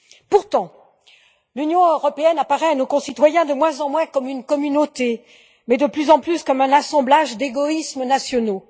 Pourtant, l'Union européenne apparaît à nos concitoyens de moins en moins comme une communauté, mais de plus en plus comme un assemblage d'égoïsmes nationaux.